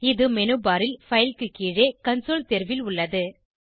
இது menu bar ல் file க்கு கீழே கன்சோல் தேர்வில் உள்ளது